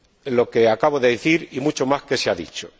Lo que acabo de decir y mucho más que se ha dicho.